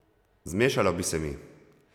Zmešalo bi se mi.